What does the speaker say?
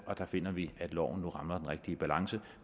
der finder vi at loven nu rammer den rigtige balance